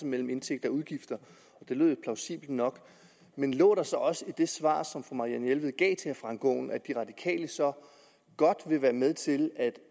mellem indtægter og udgifter det lød jo plausibelt nok men lå der så også i det svar som fru marianne jelved gav til herre frank aaen at de radikale så godt vil være med til at